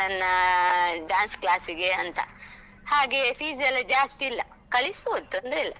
ನನ್ನ dance class ಗೆ ಅಂತ, ಹಾಗೆ fees ಎಲ್ಲ ಜಾಸ್ತಿ ಇಲ್ಲ ಕಳಿಸ್ಬೋದು ತೊಂದ್ರೆ ಇಲ್ಲ.